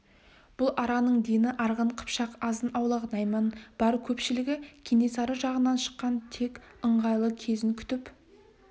бұл араның дені арғын қыпшақ азын-аулақ найман бар көпшілігі кенесары жағына шыққан тек ыңғайлы кезін күтіп